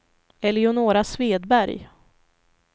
Eleonora Svedberg